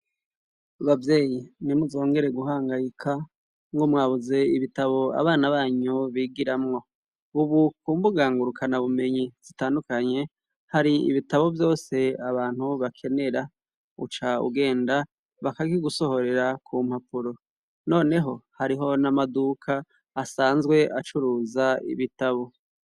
Bavyeyi ntimuzongere guhangayika ngo mwabuze ibitabo abana banyu bigiramwo bubukumbugangurukana bumenyi zitandukanye hari ibitabo vyose abantu bakenera uca ugenda bakaki gusohorera ku mpapuro, noneho hariho n'amaduka asanzwe acuruza ibitabo.